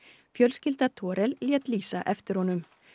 fjölskylda lét lýsa eftir honum